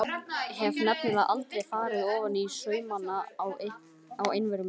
Hef nefnilega aldrei farið ofaní saumana á einveru minni.